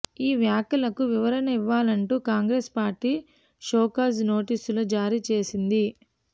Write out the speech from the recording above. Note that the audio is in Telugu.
ఈ వ్యాఖ్యలకు వివరణ ఇవ్వాలంటూ కాంగ్రెస్ పార్టీ షోకాజ్ నోటీసులు జారీ చేసింది